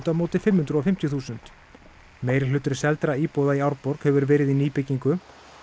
móti fimm hundruð og fimmtíu þúsund meirihluti seldra íbúða í Árborg hefur verið í nýbyggingu